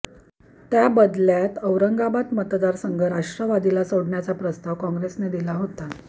त्याबदल्यात औरंगाबाद मतदारसंघ राष्ट्रवादीला सोडण्याचा प्रस्ताव काँग्रेसने दिला होता